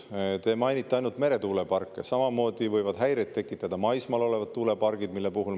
Te mainite ainult meretuuleparke, aga samamoodi võivad häireid tekitada maismaal olevad tuulepargid.